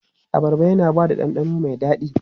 Abarba yana ba da ɗanɗano mai daɗi.